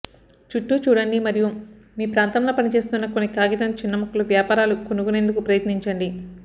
చుట్టూ చూడండి మరియు మీ ప్రాంతంలో పనిచేస్తున్న కొన్ని కాగితం చిన్న ముక్కలు వ్యాపారాలు కనుగొనేందుకు ప్రయత్నించండి